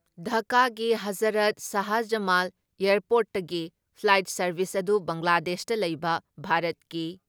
ꯙꯀꯥꯥꯒꯤ ꯍꯖꯔꯠ ꯁꯥꯍꯖꯃꯥꯜ ꯑꯦꯌꯥꯔꯄꯣꯔꯠꯇꯒꯤ flight service ꯑꯗꯨ ꯕꯪꯒ꯭ꯂꯥꯗꯦꯁꯇ ꯂꯩꯕ ꯚꯥꯔꯠꯀꯤ